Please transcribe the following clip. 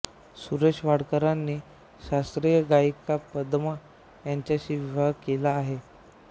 सुरेश वाडकरांनी शास्त्रीय गायिका पदमा यांच्याशी विवाह केला आहे